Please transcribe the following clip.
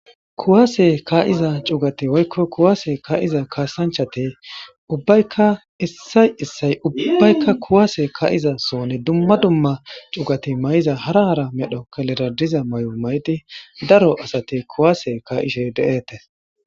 Kuwase ka'iza cugati woyko kuwase ka'iza kasanchati ubbayka issay issay kuwase ka'iza sohoni duma duma cugati mayoza hara hara kelerera de'iza mayo mayidi ka'ishe bettetes